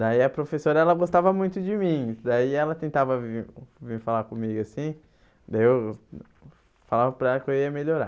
Daí a professora, ela gostava muito de mim, daí ela tentava vir vir falar comigo assim, daí eu falava para ela que eu ia melhorar.